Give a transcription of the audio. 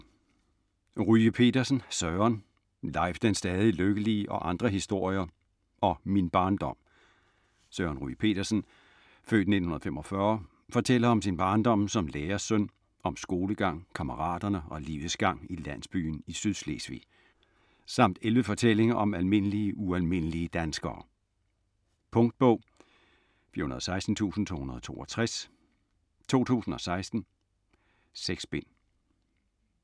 Ryge Petersen, Søren: Leif den stadig lykkelige og andre historier og Min barndom Søren Ryge Petersen (f. 1945) fortæller om sin barndom som lærersøn, om skolegang, kammeraterne og livets gang i landsbyen i Sydslesvig. Samt 11 fortællinger om almindelige ualmindelige danskere. Punktbog 416262 2016. 6 bind.